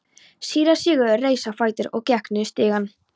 Síra Sigurður reis á fætur og gekk niður stigann.